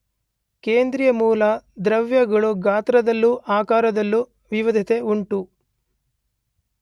ಕೇಂದ್ರೀಯ ಮೂಲ ದ್ರವ್ಯಗಳು ಗಾತ್ರದಲ್ಲೂ ಆಕಾರದಲ್ಲೂ ವಿವಿಧತೆ ಉಂಟು.